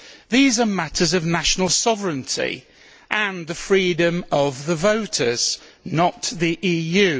These are matters of national sovereignty and the freedom of the voters not the EU.